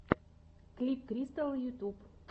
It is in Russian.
клип кристал ютьюб